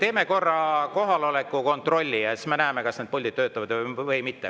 Teeme korra kohaloleku kontrolli ja siis me näeme, kas need puldid töötavad või mitte.